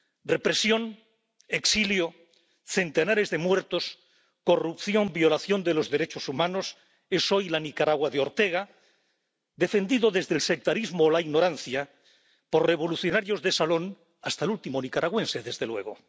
Represión, exilio, centenares de muertos, corrupción, violación de los derechos humanos, eso es hoy la Nicaragua de Daniel Ortega, defendida, desde el sectarismo o la ignorancia, por revolucionarios de salón hasta el último nicaragüense, desde luego.